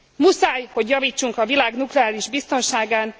Muszáj, hogy javítsunk a világ nukleáris biztonságán!